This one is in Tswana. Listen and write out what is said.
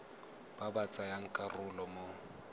ba ba tsayang karolo mo